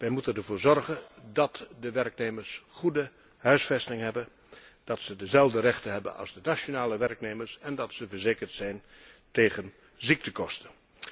Wij moeten ervoor zorgen dat de werknemers goede huisvesting hebben, dat ze dezelfde rechten hebben als de nationale werknemers en dat ze verzekerd zijn tegen ziektekosten.